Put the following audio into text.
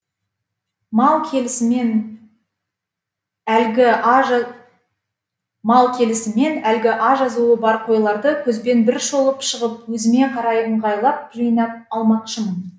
мал келісімен әлгі а жазуы бар қойларды көзбен бір шолып шығып өзіме қарай ыңғайлап жыйнап алмақшымын